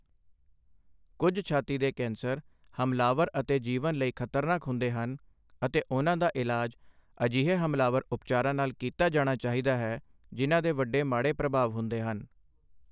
ਕੁੱਝ ਛਾਤੀ ਦੇ ਕੈਂਸਰ ਹਮਲਾਵਰ ਅਤੇ ਜੀਵਨ ਲਈ ਖ਼ਤਰਨਾਕ ਹੁੰਦੇ ਹਨ ਅਤੇ ਉਨ੍ਹਾਂ ਦਾ ਇਲਾਜ ਅਜਿਹੇ ਹਮਲਾਵਰ ਉਪਚਾਰਾਂ ਨਾਲ ਕੀਤਾ ਜਾਣਾ ਚਾਹੀਦਾ ਹੈ ਜਿਨ੍ਹਾਂ ਦੇ ਵੱਡੇ ਮਾੜੇ ਪ੍ਰਭਾਵ ਹੁੰਦੇ ਹਨ।